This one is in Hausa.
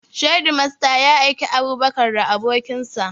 Shedimasta ya aiki Abubakar da abokin sa